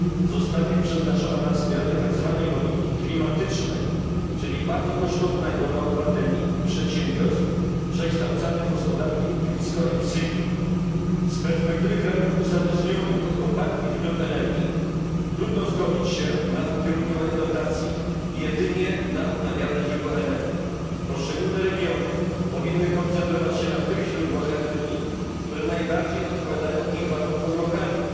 zostanie przeznaczona na wspieranie tzw. logiki klimatycznej, czyli bardzo kosztownego dla obywateli i przedsiębiorstw przekształcania gospodarki w niskoemisyjną. Z perspektywy krajów uzależnionych od kopalnych źródeł energii trudno zgodzić się na ukierunkowanie dotacji jedynie na odnawialne źródła energii. Poszczególne regiony powinny koncentrować się na tych źródłach energii, które najbardziej odpowiadają ich warunkom lokalnym.